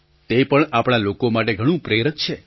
તે પણ આપણા લોકો માટે ઘણું પ્રેરક છે